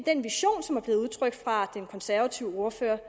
den konservative ordfører